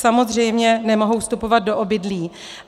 Samozřejmě nemohou vstupovat do obydlí.